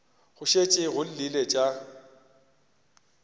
go šetše go llile tša